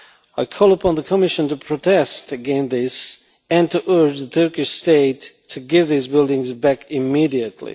I call upon the Commission to protest against this and to urge the Turkish state to give these buildings back immediately.